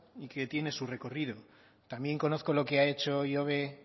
y que tiene su recorrido también conozco lo que ha hecho ihobe